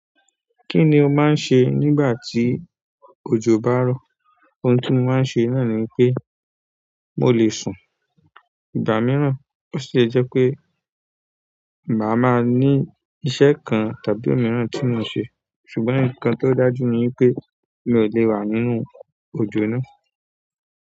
Ki ni o maa n ṣe nígbàtí ojo ba rọ. Ohun tí mo máa ń ṣe náà ni pé mo lè sùn ìgbà mìíràn. Ó sì le jẹ́ pé màá máa ní iṣẹ́ kan tàbí òmíràn tí mo n ṣe, ṣùgbọ́n nkan tó dájú ni wipé mi ò lè wà nínú òjò náà.